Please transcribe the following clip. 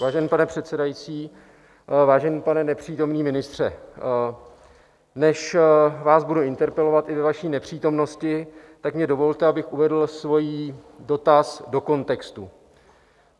Vážený pane předsedající, vážený pane nepřítomný ministře, než vás budu interpelovat i ve vaší nepřítomnosti, tak mi dovolte, abych uvedl svůj dotaz do kontextu.